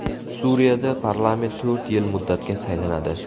Suriyada parlament to‘rt yil muddatga saylanadi.